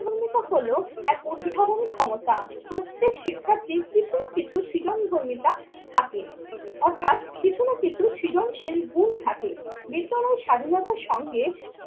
ভৌমিক হলো এক অনুভবনী ক্ষমতা। প্রত্যেক শিক্ষার্থী কিছু না কিছু সৃজন বর্ণিতা থাকে অর্থাৎ কিছু না কিছু সৃজনশীল গুণ থাকে। বিদ্যালয়ের স্বাধীনতার সঙ্গে